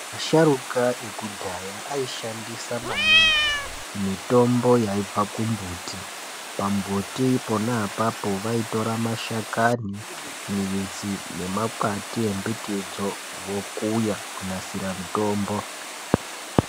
Asharuka ekudhaya aishandisa maningi mitombo yaibva kumbuti ,pambuti pona apapo vaitora mashakani ,midzi nemakwati embitidzo vokuya kunasira mitombo.